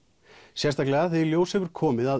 sérstaklega þegar í ljós hefur komið að